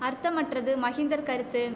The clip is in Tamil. அர்த்தமற்றது மகிந்தர் கருத்து